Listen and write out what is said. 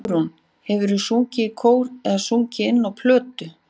Hugrún: Hefurðu sungið í kór eða sungið inn á plötu áður?